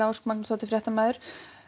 Ósk Magnúsdóttir fréttamaður